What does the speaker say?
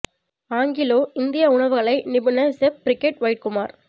Anglo இந்திய உணவுக் கலை நிபுணர் செஃப் பிரிகெட் ஒயிட் குமார்